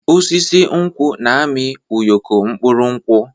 Osisi nkwụ na-amị ụyọkọ mkpụrụ nkwụ.